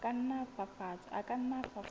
a ka nna a fafatswa